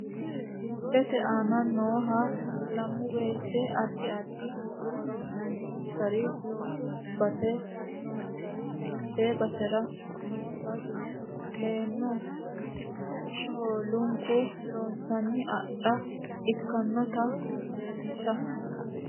Miisilete aana noohaa laanmowete aadi addi hooro noonsari loosu baase noonsari haate baasera noota kooleno shholunku loosinsa adhaa ekkanotta leelsha.